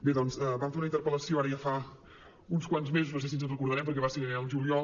bé doncs vam fer una interpel·lació ara ja fa uns quants mesos no sé si ens en recordarem perquè va ser al juliol